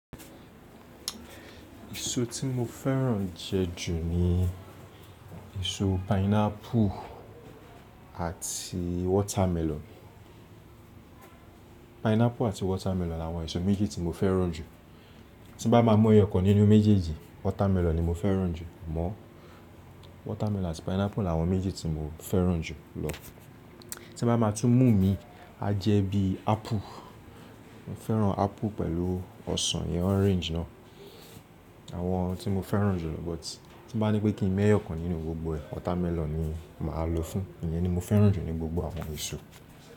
Èso tí mo fẹ́ràn jẹ ju ní èso pineapple àti watermelon. Pineapple àti watermelon làwọn èso méjì tí mo fẹ́ràn jù. Tí bá máa mú ẹyọkan nínú méjèèjì, watermelon ni mo fẹ́ràn jù mọ́. Watermelon àti pineapple làwọn méjì tí mo fẹ́ràn jù lọ. Tí bá máa tún mú mi, a jẹ́ bí apple. Mo fẹ́ràn apple pẹ̀lú ọsàn yẹn orange náà. Àwọn tí mo fẹ́ràn jù lọ but tí bá ní pé kí n mú ẹyọkan nínú gbogbo ẹ̀, watermelon ni màá lo fún. Iyen ni mo fẹ́ràn jù ní gbogbo àwọn èso.